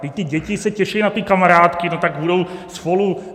Vždyť ty děti se těší na ty kamarádky, no tak budou spolu.